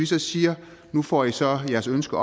så siger nu får i så jeres ønske